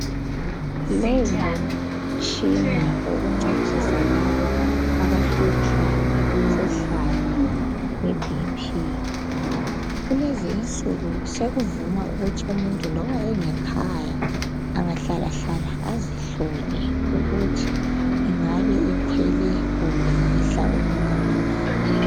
Lowu ngumtshina wokuncedisa labo abahlutshwa ngumkhuhlane we"BP " kulezinsuku sokuvuma ukuthi umuntu loba engekhaya angahlala hlala azihlole ukuthi ingabe ikhwele kumbe yehla okungakanani.